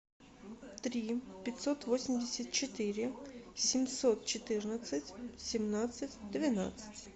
три пятьсот восемьдесят четыре семьсот четырнадцать семнадцать двенадцать